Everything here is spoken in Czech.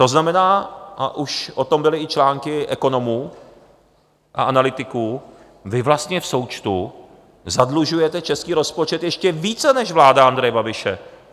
To znamená, a už o tom byly i články ekonomů a analytiků, vy vlastně v součtu zadlužujete český rozpočet ještě více než vláda Andreje Babiše.